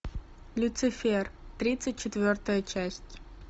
люцифер тридцать четвертая часть